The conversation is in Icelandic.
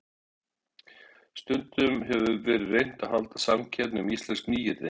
Stundum hefur verið reynt að halda samkeppni um íslensk nýyrði.